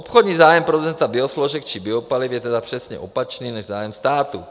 Obchodní zájem producenta biosložek či biopaliv je tedy přesně opačný než zájem státu.